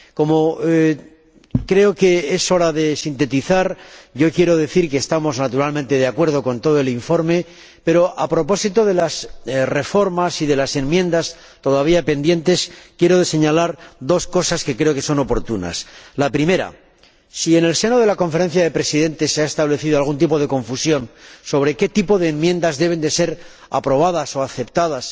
Como creo que es hora de sintetizar, quiero decir que estamos naturalmente de acuerdo con todo el informe, pero, a propósito de las reformas y de las enmiendas todavía pendientes, quiero señalar dos cosas que creo oportunas. La primera si en el seno de la Conferencia de Presidentes se ha establecido algún tipo de confusión sobre qué tipo de enmiendas deben ser aprobadas o aceptadas,